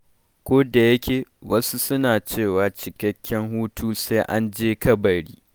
Kodayake wasu suna cewa cikakken hutu sai an je kabari.